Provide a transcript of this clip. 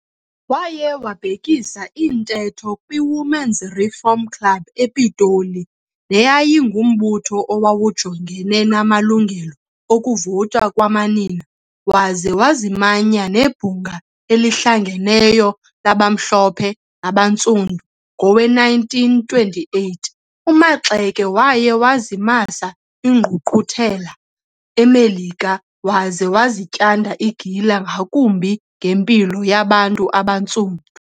Waye wabhekisa intetho kwiWomen's Reform Club ePitoli, neyayingumbutho owawujongene namalungelo okuvota kwamanina waze wazimanya neBhunga eliHlanganeyo labaMhlophe nabaNtsundu. Ngowe-1928, uMaxeke waye wazimasa ingqungquthela eMelika waze wazityanda igila ngakumbi ngempilo yabantu abaNtsundu.